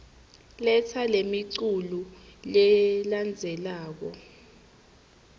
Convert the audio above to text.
letsa lemiculu lelandzelako